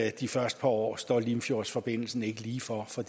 at de første par år står limfjordsforbindelsen ikke lige for for